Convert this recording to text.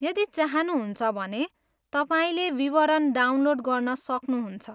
यदि चाहनुहुन्छ भने, तपाईँले विवरण डाउनलोड गर्न सक्नुहुन्छ।